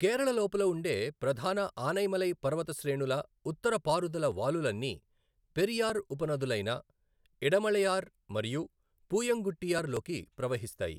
కేరళ లోపల ఉండే ప్రధాన ఆనైమలై పర్వత శ్రేణుల ఉత్తర పారుదల వాలులన్నీ పెరియార్ ఉపనదులైన ఇడమళయార్ మరియు పూయంగుట్టియార్ లోకి ప్రవహిస్తాయి.